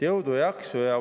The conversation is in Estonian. Jõudu-jaksu!